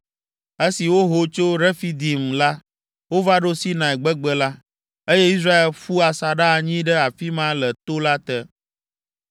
Esi woho tso Refidim la, wova ɖo Sinai gbegbe la, eye Israel ƒu asaɖa anyi ɖe afi ma le to la te.